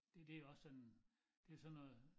Det det jo også sådan det sådan noget